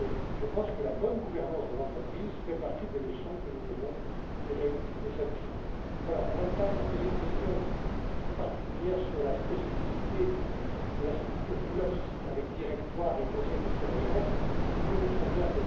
Je pense que la bonne gouvernance de l'entreprise fait partie des leçons que nous devons tirer de cette crise. Mme Thein a posé une question particulière sur la spécificité de la structure dualiste avec directoire et conseil de surveillance, que nous connaissons bien.